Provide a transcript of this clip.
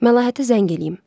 Məlahətə zəng eləyim.